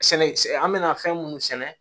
Sɛnɛ an mɛna fɛn munnu sɛnɛ